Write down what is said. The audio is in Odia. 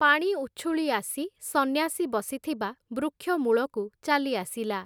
ପାଣି ଉଛୁଳି ଆସି, ସନ୍ୟାସୀ ବସିଥିବା ବୃକ୍ଷମୂଳକୁ ଚାଲିଆସିଲା ।